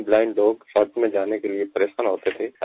हम ब्लाइंड लोग शौच में जाने के लिए परेशान होते थे